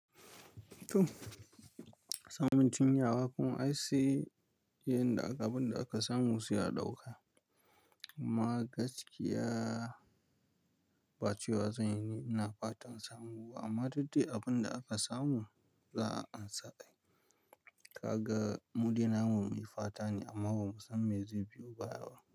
Samun cinyawa kuma ai sai yanda abun da aka samu sai ya ɗauka. Amma gaskiya ba cewa zan yi ni ina fatan in samu ba amma duk dai abun da aka samu za a ansa ai. Ka ga mu dai namu mai fata ne amma babu sam mai zai biyo ba yaba.